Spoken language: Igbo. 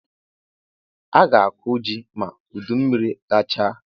A ga-akọ ji ma udummiri gachaa